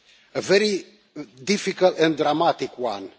A very difficult and dramatic one.